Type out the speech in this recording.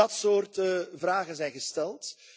Dat soort vragen zijn gesteld.